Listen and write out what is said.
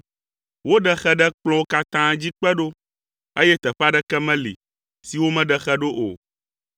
Woɖe xe ɖe kplɔ̃wo katã dzi kpe ɖo, eye teƒe aɖeke meli si womeɖe xe ɖo o.